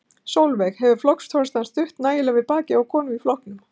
Sólveig: Hefur flokksforystan stutt nægilega við bakið á konum í flokknum?